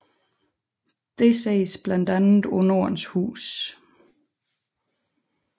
Dette ses blandt andet på Nordens Hus